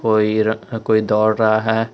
कोई र अ दौड़ रहा है।